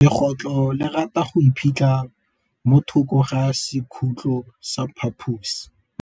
Legôtlô le rata go iphitlha mo thokô ga sekhutlo sa phaposi.